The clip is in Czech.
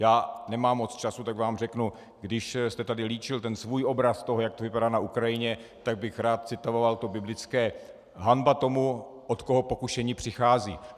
Já nemám moc času, tak vám řeknu, když jste tady líčil ten svůj obraz toho, jak to vypadá na Ukrajině, tak bych rád citoval to biblické: Hanba tomu, od koho pokušení přichází.